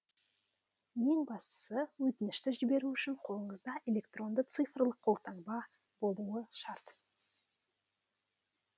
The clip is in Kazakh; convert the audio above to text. ең бастысы өтінішті жіберу үшін қолыңызда электронды цифрлық қолтаңба болуы шарт